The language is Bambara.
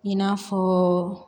I n'a fɔ